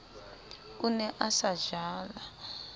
o ne a se jala